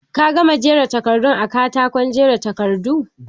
Ka gama jera takardun a katako aje takardu?